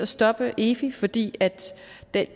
stoppe efi fordi